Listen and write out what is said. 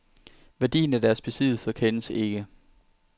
Værdien af deres besiddelser kendes ikke.